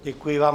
Děkuji vám.